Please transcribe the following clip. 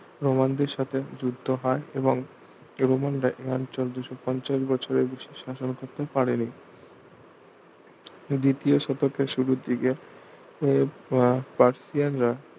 রোমানদের সাথে যুদ্ধ হয় এবং এর অনুমান দেয় দুশ পঞ্চাশ বছরের বেশি শাসন করতে পারেনি দ্বিতীয় শতকের শুরুর দিকে পার্সিয়ানরা